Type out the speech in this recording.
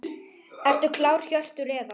Ertu klár Hjörtur eða?